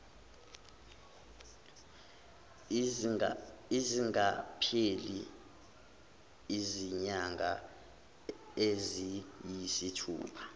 zingakapheli izinyanga eziyisithupha